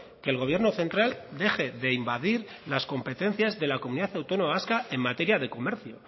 que el gobierno central deje de invadir las competencias de la comunidad autónoma vasca en materia de comercio